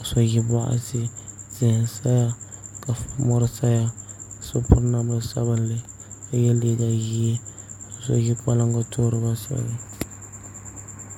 ka so ʒi boɣati tihi n saya ka mori saya so piri namda sabinli ka yɛ liiga ʒiɛ so ʒi folingi toori binsurugu ni